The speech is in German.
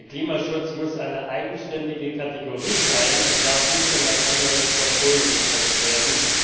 Der Klimaschutz muss eine eigenständige Kategorie sein und darf nicht in ein anderes Portfolio gepresst werden.